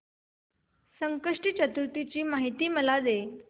संकष्टी चतुर्थी ची मला माहिती दे